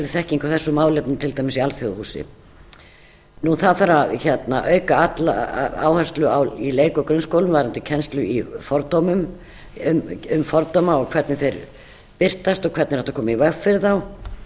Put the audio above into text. þekking á þessum málefnum til dæmis í alþjóðahúsi það þarf auka áherslu í leik og grunnskólum varðandi kennslu um fordóma og hvernig þeir birtast og hvernig er hægt að koma í veg fyrir þá það